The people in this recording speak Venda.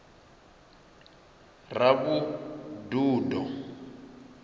ravhududo